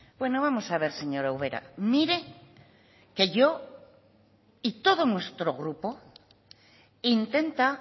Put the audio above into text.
bueno vamos a ver señora ubera mire que yo y todo nuestro grupo intenta